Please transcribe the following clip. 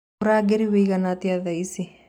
ũrũgarĩ ũĩgana atĩa thaaĩcĩ